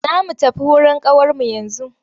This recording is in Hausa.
Za mu tafi wurin ƙawarmu yanzu.